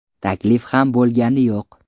Taklif ham bo‘lgani yo‘q.